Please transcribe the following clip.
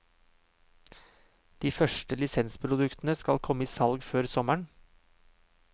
De første lisensproduktene skal komme i salg før sommeren.